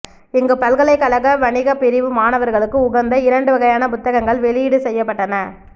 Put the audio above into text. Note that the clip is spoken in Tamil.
இங்கு பல்கலைக் கழக வணிகப் பிரிவு மாணவர்களுக்கு உகந்த இரண்டு வகையான புத்தகங்கள் வெளியீடு செய்யப்பட்டன